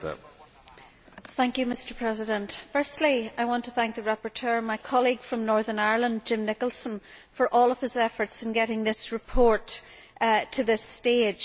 Mr President, firstly I want to thank the rapporteur, my colleague from Northern Ireland, Jim Nicholson, for all of his efforts in getting this report to this stage.